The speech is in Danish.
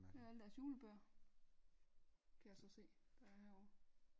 Det er alle deres julebøger kan jeg så se der er herovre